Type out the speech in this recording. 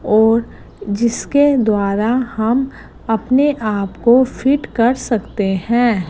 और जिसके द्वारा हम अपने आप को फिट कर सकते हैं।